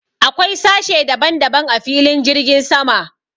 Akwai sashe daban daban a filin jirgin sama.